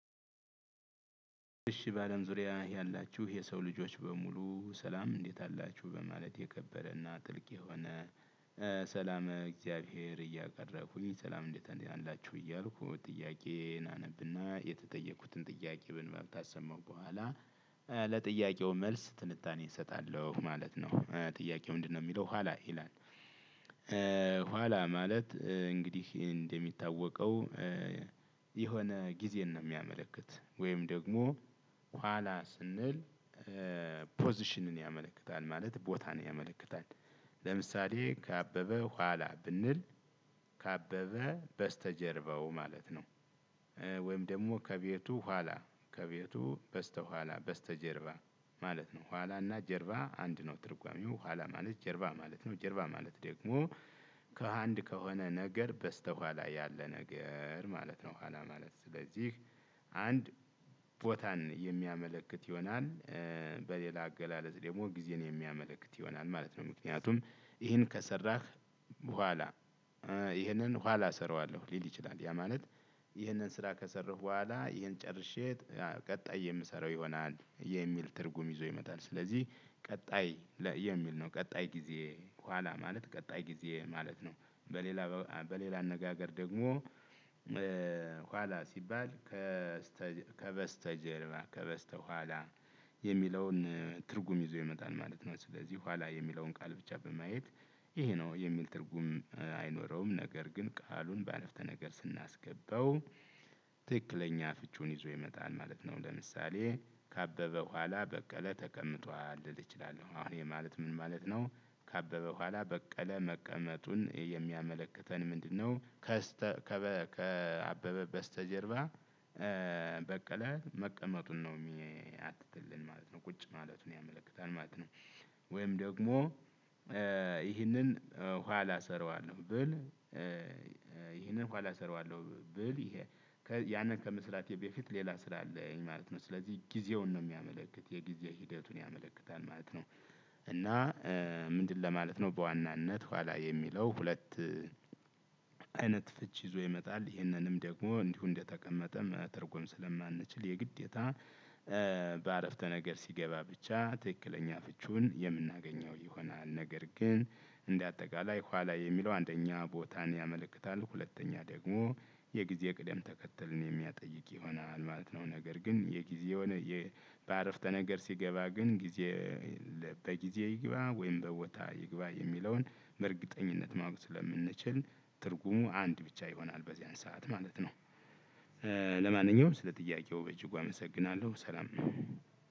እሺ ባለም ዙሪያ ያላችሁ የሰው ልጆች በሙሉ ሰላም እንዴት አላችሁ በማለት የከበረና ጥልቅ የሆነ። ሰላም እግዚአብሔር እያቀረብኩኝ ሰላም እንዴት አላችሁ እያልኩ ጥያቄን አነብና የተጠየኩትን ጥያቄ ብንባብ ካሰማሁ በኋላ። ለጥያቄው መልስ ትንታኔ እሰጣለሁ ማለት ነው። ጥያቄው ምንድነው የሚለው ኋላ ይላል? ኋላ ማለት እንግዲህ እንደሚታወቀው የሆነ ጊዜን ነው የሚያመለክት ወይም ደግሞ ኋላ ስንል ፖዚሽንን ያመለክታል ማለት ቦታን ያመለክታል። ለምሳሌ ከአበበ ኋላ ብንል ከአበበ በስተጀርባው ማለት ነው። ወይም ደግሞ ከቤቱ ኋላ ከቤቱ በስተኋላ በስተጀርባ ማለት ነው ኋላና ጀርባ አንድ ነው ትርጓሜው ኋላ ማለት ጀርባ ማለት ነው። ጀርባ ማለት ደግሞ ከአንድ ከሆነ ነገር በስተኋላ ያለ ነገር ማለት ነው። ኋላ ማለት ስለዚህ አንድ ቦታን የሚያመለክት ይሆናል። በሌላ አገላለጽ ደግሞ ጊዜን የሚያመለክት ይሆናል ማለት ነው። ምክንያቱም ይሄን ከሰራህ በኋላ ይሄንን ኋላ እሰራዋለሁ ሊል ይችላል። ያ ማለት ይህንን ስራ ከሰራሁ በኋላ ይህን ጨርሼ ቀጣይ የምሰራው ይሆናል የሚል ትርጉም ይዞ ይመጣል። ስለዚህ ቀጣይ የሚል ነው ቀጣይ ጊዜ ኋላ ማለት ቀጣይ ጊዜ ማለት ነው። በሌላ በሌላ አነጋገር ደግሞ ኋላ ሲባል ከበስተጀርባ ከበስተኋላ የሚለውን ትርጉም ይዞ ይመጣል ማለት ነው። ስለዚህ ኋላ የሚለውን ቃል ብቻ በማየት ይሄ ነው የሚል ትርጉም አይኖረውም ነገር ግን ቃሉን በአረፍተ ነገር ስናስገባው ትክክለኛ ፍቺውን ይዞ ይመጣል ማለት ነው። ለምሳሌ ካበበ በኋላ በቀለ ተቀምጧል ልል እችላለሁ አሁን ይሄ ማለት ምን ማለት ነው? ካበበ በኋላ በቀለ መቀመጡን የሚያመለክተን ምንድነው? ከአበበ በስተጀርባ በቀለ መቀመጡን ነው የሚያትትልን ማለት ነው ቁጭ ማለቱን ያመለክታል ማለት ነው። ወይም ደግሞ ይህንን ኋላ እሰራዋለሁ ብል ይህንን ኋላ እሰራዋለሁ ብል ይሄ ያንን ከመስራቴ በፊት ሌላ ስራ አለኝ ማለት ነው። ስለዚህ ጊዜውን ነው የሚያመለክት የጊዜ ሂደቱን ያመለክታል ማለት ነው። እና ምንድን ለማለት ነው በዋናነት ኋላ የሚለው ሁለት አይነት ፍች ይዞ ይመጣል ይህንንም ደግሞ እንዲሁ እንደተቀመጠም ትርጉም ስለማንችል የግዴታ በአረፍተ ነገር ሲገባ ብቻ ትክክለኛ ፍቺውን የምናገኘው ይሆናል። ነገር ግን እንደ አጠቃላይ ኋላ የሚለው አንደኛ ቦታን ያመለክታል ሁለተኛ ደግሞ የጊዜ ቅደም ተከተልን የሚያጠይቅ ይሆናል ማለት ነው። ነገር ግን የጊዜ በአረፍተ ነገር ሲገባ ግን ጊዜ በጊዜ ይግባ ወይም በቦታ ይግባ የሚለውን በእርግጠኝነት ማወቅ ስለምንችል ትርጉሙ አንድ ብቻ ይሆናል በዚያን ሰዓት ማለት ነው። ለማንኛውም ስለ ጥያቄው በእጅጉ አመሰግናለሁ ሰላም።